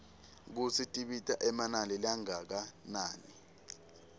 kutsi tibita emanani langakanani